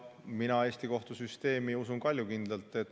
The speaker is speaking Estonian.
Mina Eesti kohtusüsteemi usun kaljukindlalt.